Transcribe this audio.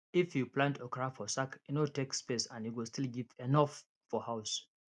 if you plant okra for sack e no take space and e go still give enough for house